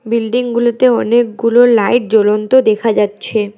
বিল্ডিংগুলোতে অনেকগুলো লাইট জ্বলন্ত দেখা যাচ্ছে।